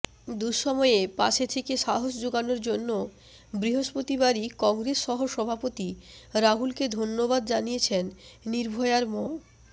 দুঃসময়ে পাশে থেকে সাহস জোগানোর জন্য বৃহস্পতিবারই কংগ্রেস সহ সভাপতি রাহুলকে ধন্যবাদ জানিয়েছেন নির্ভয়ার ম